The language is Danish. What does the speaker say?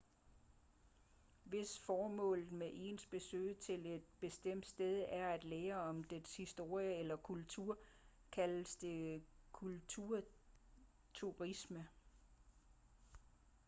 hvis formålet med ens besøg til et bestemt sted er at lære om dets historie eller kultur kaldes det kulturturisme